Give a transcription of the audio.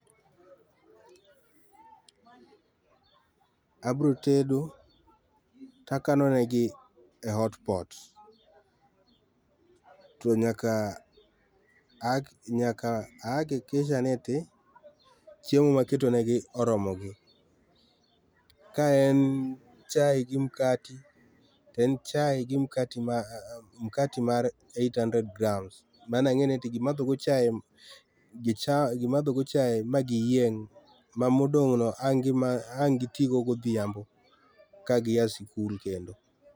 Abro tedo takano negi e hotpot to nyaka a,nyaka a hakikisha ni eti chiemo ma aketo negi oromogi. Ka en chai gi mkati to en chai gi mkati , makti mar cs]eight hundred grams, mano angeni gimadho go chai, gimadho go chai ma giyieng ma modong no ange gitii go godhiambo ka gia skul kendo.